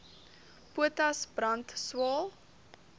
potas brand swael